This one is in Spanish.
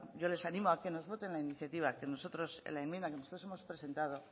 yo les animo a que nos voten la iniciativa que nosotros en la enmienda hemos presentado